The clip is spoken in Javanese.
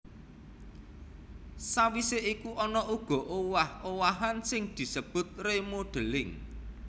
Sawisé iku ana uga owah owahan sing disebut remodelling